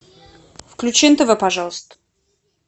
включи нтв пожалуйста